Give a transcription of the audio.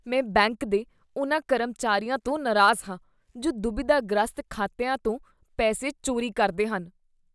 ਮੈਂ ਬੈਂਕ ਦੇ ਉਹਨਾਂ ਕਰਮਚਾਰੀਆਂ ਤੋਂ ਨਰਾਜ਼ ਹਾਂ ਜੋ ਦੁਬਿਧਾ ਗ੍ਰਸਤ ਖਾਤਿਆਂ ਤੋਂ ਪੈਸੇ ਚੋਰੀ ਕਰਦੇ ਹਨ